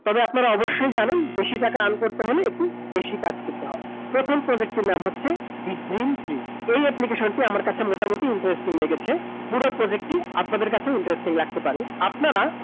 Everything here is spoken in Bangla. তবে আপনারা অবশ্যই জানেন বেশি টাকা earn করতে হলে একটু বেশি কাজ করতে হয়। প্রথম project টির নাম হচ্ছে, the green tree । এই application টি আমার কাছে মোটামুটি interesting লেগেছে। পুরো project টি আপনাদের কাছেও interesting লাগতে পারে। আপনারা